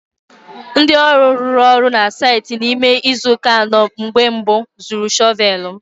Ndị ọrụ rụrụ ọrụ na saịtị n'ime izu ụka anọ mbụ zuru shọvel m.